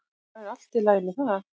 Það er allt í lagi með það.